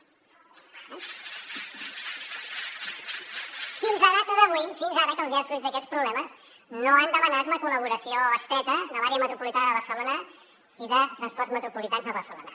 fins a data d’avui fins ara que els hi han sortit aquests problemes no han demanat la col·laboració estreta de l’àrea metropolitana de barcelona i de transports metropolitans de barcelona